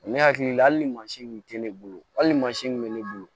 Ne hakili la hali ni mansin kun tɛ ne bolo hali ni mansin min bɛ ne bolo